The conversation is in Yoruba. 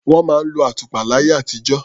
Wọ́n máa ń lo àtùpà láyé àtijó.